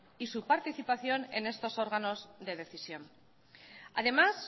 y su participación en estos órganos de decisión además